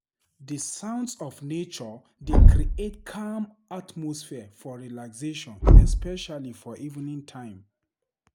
Di sounds of nature dey create calm atmosphere for relaxation especially for evening time.